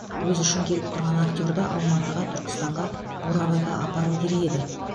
өзі үшін келіп тұрған актерді алматыға түркістанға бурабайға апару керек еді